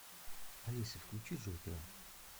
алиса включи джокера